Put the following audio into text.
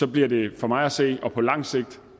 bliver det for mig at se og på lang sigt